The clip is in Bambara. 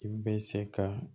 I bɛ se ka